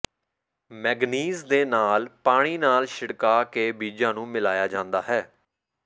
manganese ਦੇ ਨਾਲ ਪਾਣੀ ਨਾਲ ਛਿੜਕਾ ਕੇ ਬੀਜਾਂ ਨੂੰ ਮਿਲਾਇਆ ਜਾਂਦਾ ਹੈ